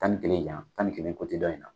Tan ni kelen yan, tan ni kelen dɔn in na